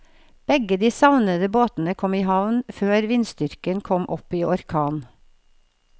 Begge de savnede båtene kom i havn før vindstyrken kom opp i orkan.